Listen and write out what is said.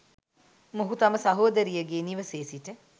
මොහු තම සහෝදරියගේ නිවසේ සිට